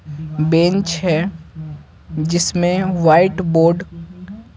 Bench है जिसमें white board.